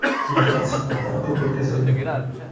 Bunaqa suhbatlar ko‘p o‘tkazildi.